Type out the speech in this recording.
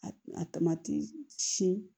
A tamati siyɛn